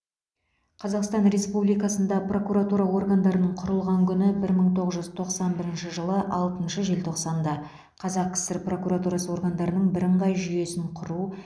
қазақстан республикасында прокуратура органдарының құрылған күні бір мың тоғыз жүз тоқсан бірінші жылы алтыншы желтоқсанда қазақ кср прокуратурасы органдарының бірыңғай жүйесін құру